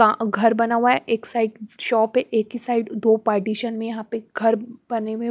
घर बना हुआ है एक साइड शॉप है एक ही साइड दो पार्टीशन में यहाँ पे घर बने हुए हैं --